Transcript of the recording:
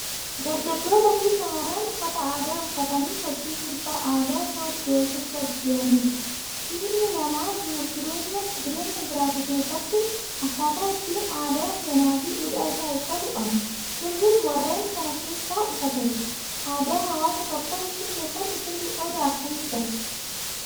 Dargaggootaa fi shamarran uffata aadaa uffatanii sochii sirba aadaa sooddoo sirbaa jiranidha. Ilmi namaa jiruufi jireenya jiraatu keessatti akkaataa ittiin aadaa, seenaa fi duudhaa isaa ibsatu qaba. Sirbis warreen sana keessaa isa tokko. Aadaa hawaasa tokkoo ibsuu keessatti sirbi qooda akkamii qaba?